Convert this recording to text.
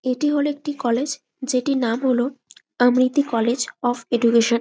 এইটি হলো একটি কলেজ যেটির নাম হলো আমিরটি কলেজ অফ এডুকেশন ।